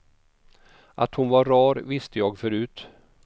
Att hon var rar visste jag förut.